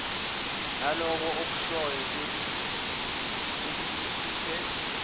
lalokho okushoyo selisihluphe